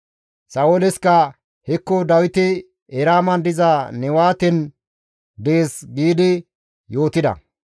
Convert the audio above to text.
Sa7ooleska, «Hekko Dawiti Eraaman diza Newaten dees» giidi izas yootida.